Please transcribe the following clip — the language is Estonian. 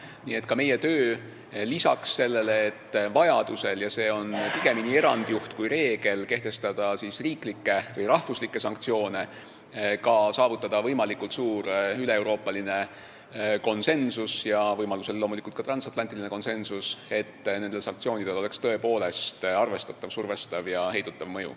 Nii et ka meie töö on lisaks sellele, et vajadusel – ja see on pigemini erandjuht kui reegel – kehtestada riiklikke sanktsioone, saavutada võimalikult suur üleeuroopaline konsensus ja võimalusel loomulikult ka transatlantiline konsensus, et nendel sanktsioonidel oleks tõepoolest arvestatav survestav ja heidutav mõju.